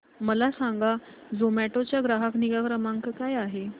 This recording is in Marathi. मला सांगा झोमॅटो चा ग्राहक निगा क्रमांक काय आहे